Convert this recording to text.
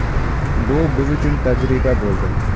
Bu biz uchun tajriba bo‘ldi.